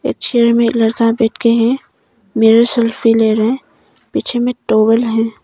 एक चेयर में एक लड़का बैठके है। मिरर शेल्फी ले रहा है। पीछे में टॉवेल है।